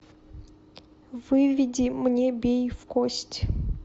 выведи мне бей в кость